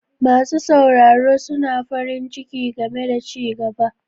Masu sauraro suna farin ciki game da ci gaba.